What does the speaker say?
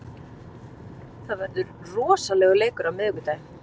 Það verður rosalegur leikur á miðvikudaginn.